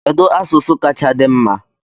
Kedu asụsụ kacha di mma?